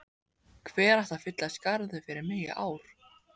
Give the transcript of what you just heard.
Hver ætti að fylla í skarðið fyrir mig í ár?